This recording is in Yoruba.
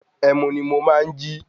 Ẹmu ni mo máa jí.